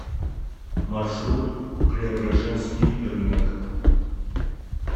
маршрут преображенский рынок